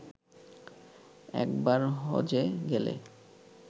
একবার হজ্বে গেলে